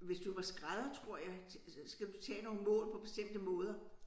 hvis du var skrædder tror jeg så skal du tage nogle mål på bestemte måder